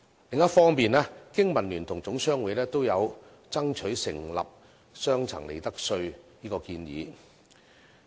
另一方面，經民聯和總商會均爭取設立雙層利得稅制的建議。